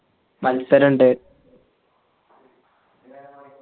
മത്സര ഇണ്ട്